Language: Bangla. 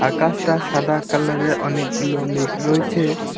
আকাশটা সাদা কালারের অনেকগুলো মেঘ রয়েছে।